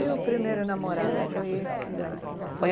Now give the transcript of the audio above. E o primeiro namorado foi esse que você